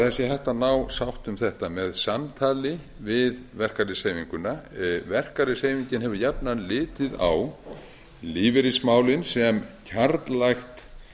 sé hægt að ná sátt um þetta með samtali við verkalýðshreyfinguna verkalýðshreyfingin hefur jafnan litið á lífeyrismálin sem kjarnlægt